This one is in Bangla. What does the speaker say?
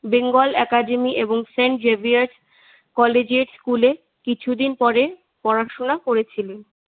বেঙ্গল একাডেমি এবং সেন্ট জেভিয়ার্স কলেজে স্কুলে কিছুদিন পড়েন পড়াশোনা করেছিলেন।